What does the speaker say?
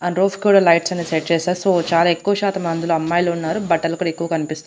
And roof కూడా lights అనేవి set చేశారు సో చాలా ఎక్కువ శాతం అందులో అమ్మాయిలున్నారు బట్టలు కూడా ఎక్కువ కన్పిస్తూ.